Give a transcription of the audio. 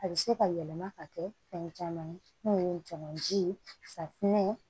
A bɛ se ka yɛlɛma ka kɛ fɛn caman ye mun ye jamanji ye safunɛ ye